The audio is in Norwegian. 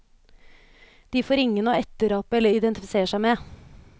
De får ingen å etterape eller identifisere seg med.